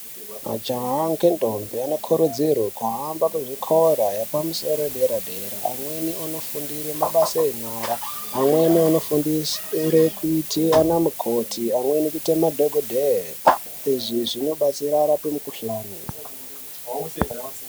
Majaha ngendombi anokurudzirwe kuhamba kuzvikora yepamusoro yedera-dera amweni onofundire mabasa enyara, amweni onofundire kuite anamukoti amweni kuite madhogodheye. Izvi zvinobatsira arape mikuhlani.